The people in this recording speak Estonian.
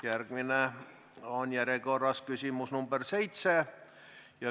Järjekorras on järgmine küsimus, nr 7.